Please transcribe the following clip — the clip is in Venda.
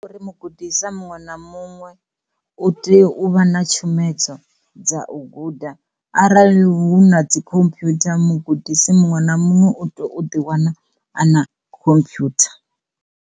Uri mugudiswa muṅwe na muṅwe u tea u vha na tshumedzo dza u guda arali hu na dzi computer mugudisi muṅwe na muṅwe u tea u ḓi wana a na khomphwutha.